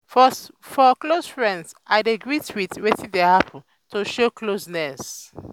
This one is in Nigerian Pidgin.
for close friends i dey greet with with "wetin dey happen?" to show closeness.